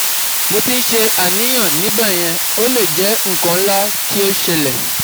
Mo ti n se aniyan nibeyen o le je ikan nla to sele